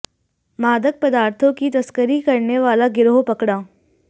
मादक पदार्थों की तस्करी करने वाला गिरोह पकड़ा